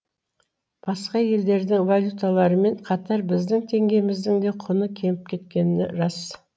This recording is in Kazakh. басқа елдердің валюталарымен қатар біздің теңгеміздің де құны кеміп кеткені рас